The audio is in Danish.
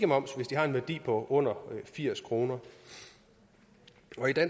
moms hvis de har en værdi på under firs kroner